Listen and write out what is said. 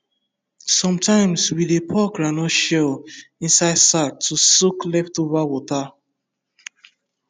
sometimes we dey pour groundnut shell inside sack to soak leftover water